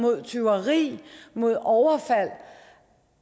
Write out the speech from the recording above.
mod tyveri mod overfald